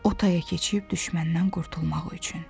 O taya keçib düşməndən qurtulmaq üçün.